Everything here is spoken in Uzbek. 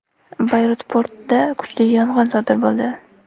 Bayrut portida kuchli yong‘in sodir bo‘ldi.